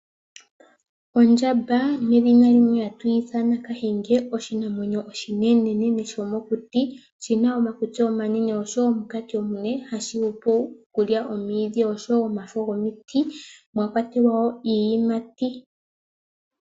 Ondjamba ndjoka hatu yiithana kahenge ndjoka yina omakutsi omanene nenkoti. Ondjamba oha yili omwiidhi niiyimati.